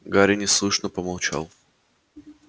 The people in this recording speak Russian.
гарри неслышно помолчал